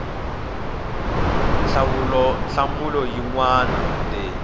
hlawula nhlamulo yin we leyi